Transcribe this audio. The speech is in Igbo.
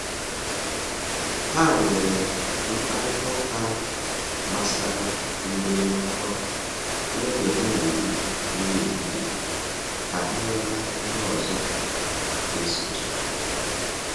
Ha nwere mkparịta ụka gbasara mbuli n'ọkwa n’oge ha na-eri nri ehihie ka ha ghọta ihe ọzọ ga-esochi.